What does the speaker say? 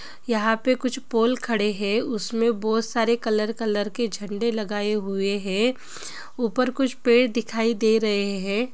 यहाँ पे कुछ पोल खड़े है उसमे बोहोत सारे कलर कलर के झंडे लगाए हुवे है ऊपर कुछ पेड़ दिखाई दे रहे है ।